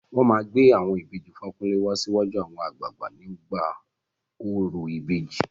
Wọn máa gbé àwọn ìbejì Fakunle wá síwájú àwọn àgbààgbà nígbà orò ìbejì.